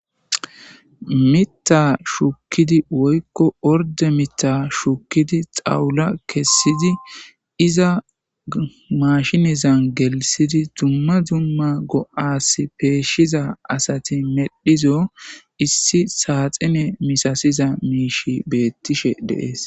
Miiththa shukidi woyko ordde miththa shukidi xawula iza maashineza giddon gelthidi dumma dumma go7a bolla peyshizaysa besees.